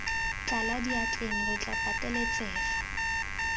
tlala diatleng re tla pateletsega